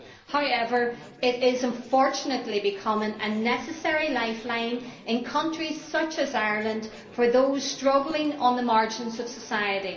However, it is unfortunately becoming a necessary lifeline in countries such as Ireland for those struggling on the margins of society.